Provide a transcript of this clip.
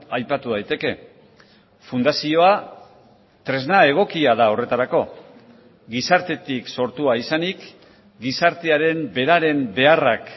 aipatu daiteke fundazioa tresna egokia da horretarako gizartetik sortua izanik gizartearen beraren beharrak